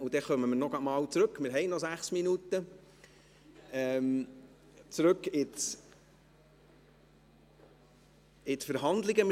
Dann kommen wir noch einmal zurück zur Verhandlung, wir haben noch sechs Minuten.